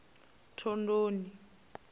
thondoni